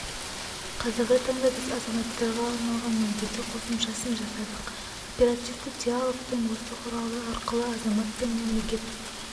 қазіргі таңда біз азаматтарға арналған мобильді қосымшасын жасадық оперативті диалогтің осы құралы арқылы азамат пен мемлекет